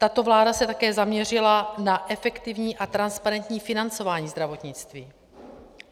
Tato vláda se také zaměřila na efektivní a transparentní financování zdravotnictví.